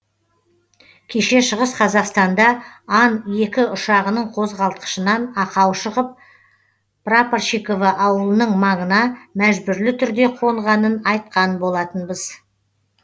кеше шығыс қазақстанда ан екі ұшағының қозғалтқышынан ақау шығып прапорщиково ауылының маңына мәжбүрлі түрде қонғанын айтқан болатынбыз